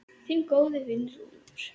Þinn góði vinur, Úlfur.